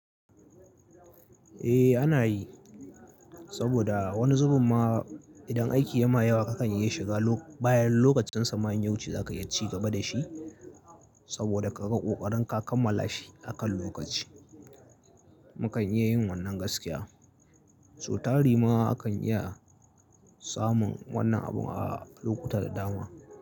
Eh ana yi saboda wani zubin ma idan aiki ya ma yawa kakan iya shiga bayan lokacin sa manyan yawuce za ka iya ci gaba da shi saboda kaga ƙoƙarin ka kammala shi akan lokaci. Mu kan iya yin wannan gaskiya, su tari ma akan iya samun wannan abun a lokutta da dama.